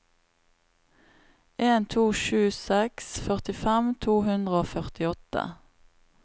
en to sju seks førtifem to hundre og førtiåtte